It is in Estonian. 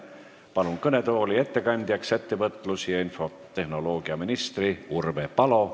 Kutsun kõnetooli ettekandjaks ettevõtlus- ja infotehnoloogiaminister Urve Palo.